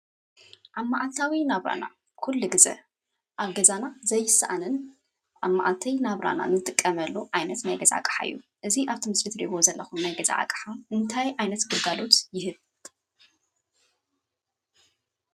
ኣብ መዓልታዊ ናብራና ኩሉ ግዜ ኣብ ገዛና ዘይሰኣንን ኣብ መዓልቲ ናብራን ንጥቀመሉ ዓይነት ናይ ገዛ ኣቕሓ እዩ፡፡ እዚ ኣብቲ ምስሊ ትሪእዎ ዘለኹም ናይ ገዛ ኣቕሓ እንታይ ዓይነት ግልጋሎት ይህብ?